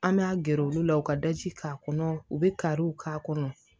An bɛ a gɛrɛ olu la u ka daji k'a kɔnɔ u bɛ kariw k'a kɔnɔ